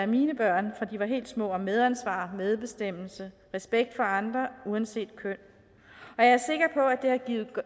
mine børn fra de var helt små om medansvar medbestemmelse respekt for andre uanset køn og jeg